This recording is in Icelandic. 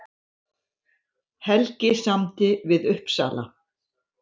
Helgi samdi við Uppsala